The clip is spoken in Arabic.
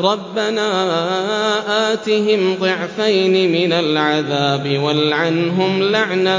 رَبَّنَا آتِهِمْ ضِعْفَيْنِ مِنَ الْعَذَابِ وَالْعَنْهُمْ لَعْنًا